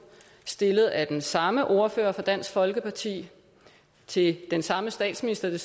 stillet af den samme ordfører for dansk folkeparti til den samme statsminister